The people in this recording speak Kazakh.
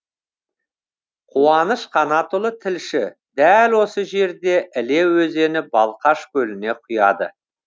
қуаныш қанатұлы тілші дәл осы жерде іле өзені балқаш көліне құяды